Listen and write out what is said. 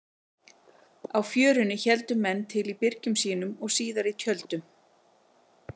Á Fjörunni héldu menn til í byrgjum sínum og síðar í tjöldum.